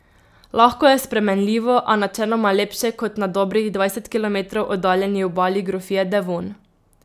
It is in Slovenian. Lahko je spremenljivo, a načeloma lepše kot na dobrih dvajset kilometrov oddaljeni obali grofije Devon.